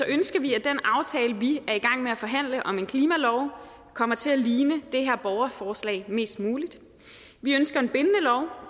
ønsker vi at den aftale vi er i gang med at forhandle om en klimalov kommer til at ligne det her borgerforslag mest muligt vi ønsker en bindende lov